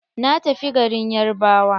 Na tafi garin yarbawa.